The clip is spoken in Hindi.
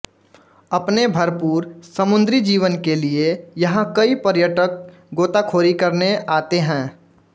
अपने भरपूर समुद्रीजीवन के लिये यहाँ कई पर्यटक गोताख़ोरी करने आते हैं